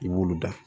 I b'olu da